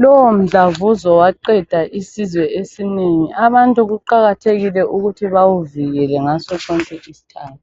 lowo mdlavuzo waqeda isizwe esinengi abantu kuqaketehekile ukuthi bawuvikele ngaso sonke isikhathi